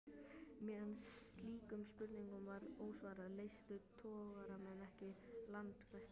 Meðan slíkum spurningum var ósvarað, leystu togaramenn ekki landfestar.